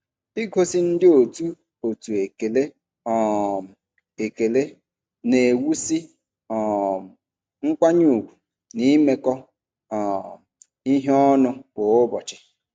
Igosi ndị otu otu ekele um ekele na-ewusi um nkwanye ugwu na imekọ um ihe ọnụ kwa ụbọchị.